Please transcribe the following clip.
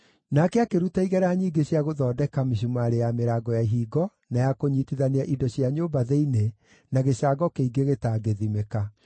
Nake akĩruta igera nyingĩ cia gũthondeka mĩcumarĩ ya mĩrango ya ihingo na ya kũnyiitithania indo cia nyũmba thĩinĩ, na gĩcango kĩingĩ gĩtangĩthimĩka.